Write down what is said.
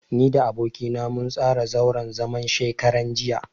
Ni da aboki na mun tsara zauren zaman shekaran jiya.